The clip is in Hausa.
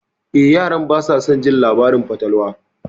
Eh, yaran basa son jin labaran fatalwa.